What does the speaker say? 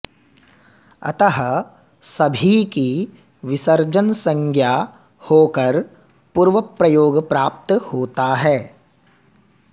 अतः सभी की उपसर्जनसंज्ञा होकर पूर्वप्रयोग प्राप्त होता है